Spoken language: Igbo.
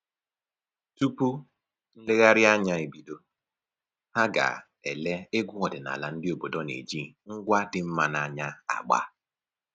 Tupu nlegharịanya ebido, ha ga-ele egwu ọdịnaala ndị obodo na-eji ngwa dị mma n'anya agba